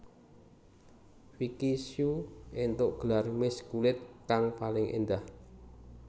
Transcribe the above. Vicky Shu éntuk gelar Miss kulit kang paling endah